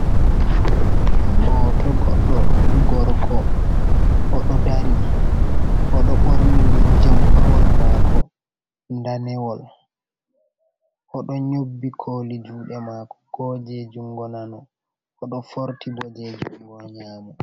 Hoto goddo gorko oɗo dari oɗo borni jampawol mako danewol oɗo nyobbi koli juɗe mako ko je jungo nano oɗo forti ɓo je jungo nyamo.